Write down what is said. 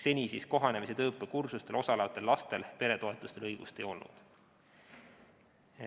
Seni kohanemis- ja tööõppekursustel osalejatel lastel peretoetustele õigust ei olnud.